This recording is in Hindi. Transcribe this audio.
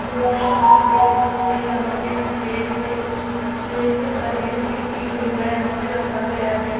यहां हम देख सकते हैं यहां पे प्लेट है प्लेट में पनीर टिक्की वगैरा यहां पर रखा गया है।